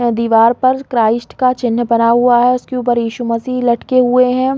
दिवार पर क्राइस्ट का चिन्ह बना हुआ है उसके ऊपर ईशु मसीह लटके हुए है।